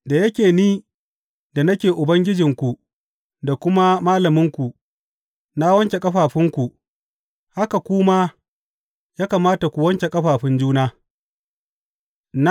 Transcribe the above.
Da yake ni da nake Ubangijinku da kuma Malaminku, na wanke ƙafafunku, haka ku ma ya kamata ku wanke ƙafafun juna.